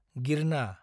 गिरना